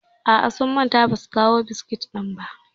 A'a, sun manta ba su kawo biskit ɗin ba.